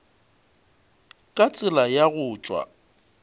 ka tsela ya go tšwa